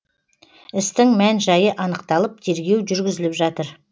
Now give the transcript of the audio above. істің мән жайы анықталып тергеу жүргізіліп жатыр